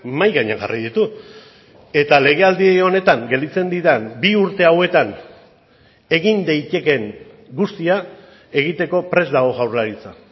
mahai gainean jarri ditu eta legealdi honetan gelditzen diren bi urte hauetan egin daitekeen guztia egiteko prest dago jaurlaritza